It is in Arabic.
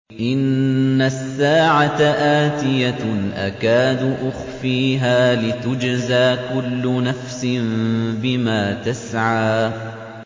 إِنَّ السَّاعَةَ آتِيَةٌ أَكَادُ أُخْفِيهَا لِتُجْزَىٰ كُلُّ نَفْسٍ بِمَا تَسْعَىٰ